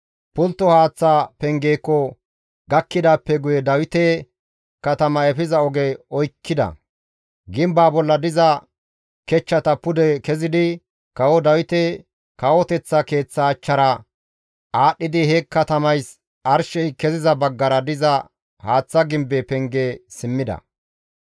Pultto haaththa pengeeko gakkidaappe guye Dawite katama efiza oge oykkida; gimbaa bolla diza kechchata pude kezidi kawo Dawite kawoteththa keeththa achchara aadhdhidi he katamays arshey keziza baggara diza haaththa gimbe penge simmida.